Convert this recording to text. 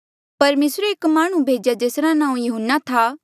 परमेसरे एक माह्णुं भेजेया जेसरा नांऊँ यहून्ना था